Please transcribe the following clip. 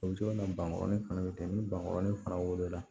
O bɛ to kana bankɔrɔni fana bɛ kɛ ni bangɔrɔni fana wola